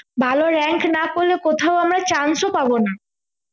ভালো rank না করলে কোথাও আমরা chance ও পাবো না